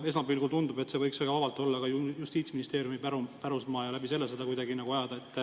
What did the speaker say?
Esmapilgul tundub, et see võiks väga vabalt olla ka Justiitsministeeriumi pärusmaa ja seda ajada kuidagi selle kaudu.